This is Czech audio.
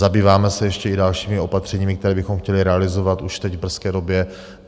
Zabýváme se ještě i dalšími opatřeními, která bychom chtěli realizovat už teď, v brzké době.